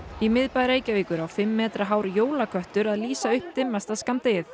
í miðbæ Reykjavíkur á fimm metra hár jólaköttur að lýsa upp dimmasta skammdegið